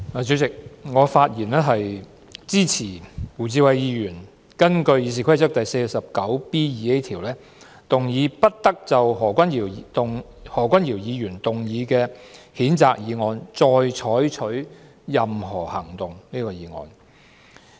主席，我發言支持胡志偉議員根據《議事規則》第 49B 條，動議"不得就何君堯議員動議的譴責議案再採取任何行動"的議案。